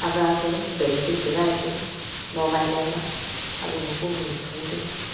aga aga balding chu gai tega mogai laiga aga ma kong lu thu tega.